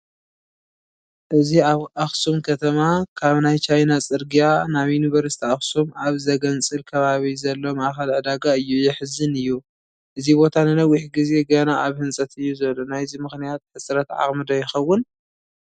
እዚ ኣብ ኣኽሱም ከተማ ካብ ናይ ቻይና ፅርጊያ ናብ ዩኒቨርሲቲ ኣኽሱም ኣብ ዘግንፅል ከባቢ ዘሎ ማእኸል ዕዳጋ እዩ፡፡ የሕዝን እዩ፡፡ እዚ ቦታ ንነዊሕ ግዜ ገና ኣብ ህንፀት እዩ ዘሎ፡፡ ናይዚ ምኽንያት ህፀረት ዓቕሚ ዶ ይኸውን፡፡